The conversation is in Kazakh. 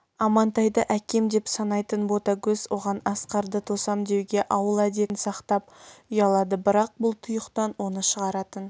амантайды әкем деп санайтын ботагөз оған асқарды тосам деуге ауыл әдетін сақтап ұялады бірақ бұл тұйықтан оны шығаратын